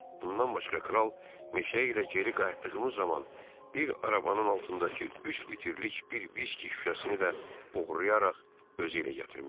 Bundan başqa kral meşə ilə geri qayıtdığımız zaman bir arabanın altındakı üç litrlik bir viski şüşəsini də oğurlayaraq özü ilə gətirmişdi.